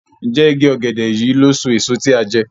Njé ìgi ògèdè yí ló so èso tí a jé?